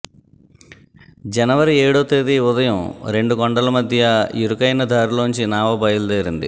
జనవరి ఏడో తేదీ ఉదయం రెండు కొండల మధ్యా ఇరుకైన దారిలోంచి నావ బయలుదేరింది